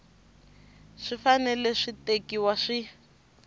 swi fanele swi tekiwa swi